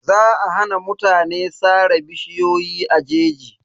Za a hana mutane sare bishiyoyi a jeji.